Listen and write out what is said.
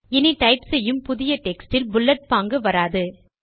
இனி டைப் செய்யும் புதிய டெக்ஸ்ட் இல் புல்லட் பாங்கு வராது